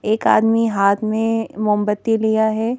एक आदमी हाथ में मोमबत्ती लिया है ।